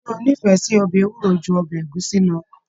Ṣe o n'ifẹ sí ọbẹ ewúro jù ọbẹ ẹ̀gúsí lọ